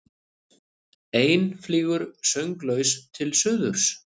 Ein flýgur sönglaus til suðurs.